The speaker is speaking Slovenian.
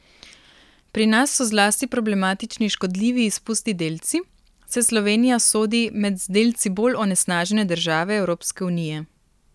Pri nas so zlasti problematični škodljivi izpusti delci, saj Slovenija sodi med z delci bolj onesnažene države Evropske unije.